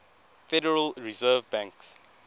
federal reserve banks